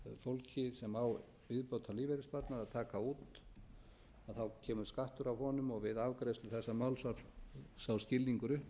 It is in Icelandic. að heimila fólki sem á viðbótarlífeyrissparnað að taka út að þá kemur skattur af honum og við afgreiðslu þessa máls var sá skilningur